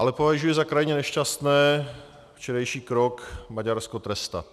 Ale považuji za krajně nešťastný včerejší krok Maďarsko trestat.